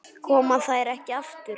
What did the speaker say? Koma þær ekki aftur?